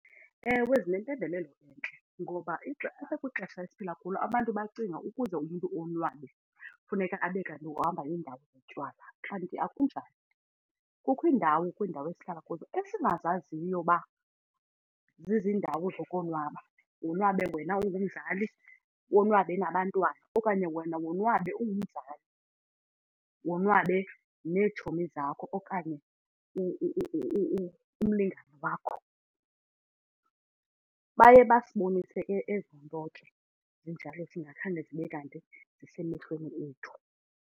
Ewe, zinempembelelo entle ngoba kwixesha esiphila kulo abantu bacinga ukuze umntu onwabe funeka abe kanti uhamba indawo yotywala kanti akunjalo. Kukho indawo kwiindawo esihlala kuzo esingazaziyo uba zizindawo zokonwaba, wonwabe wena ungumzali konwabe nabantwana okanye wena wonwabe ungumzali, wonwabe neetshomi zakho okanye umlingane wakho. Baye basibonise ke ezi zinto ke zinjalo thina khange zibe kanti zisemehlweni ethu.